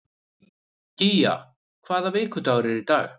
Gía, hvaða vikudagur er í dag?